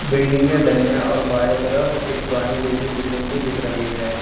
Building के दाहिने और बाएं तरफ एक पुरानी जैसी बिल्डिंग भी दिख रही है।